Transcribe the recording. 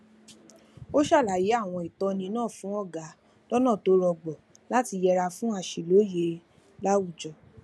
ó ṣàlàyé àwọn ìtọni náà fún ọga lọnà tó rọgbọ láti yẹra fún àṣìlóye láwùjọ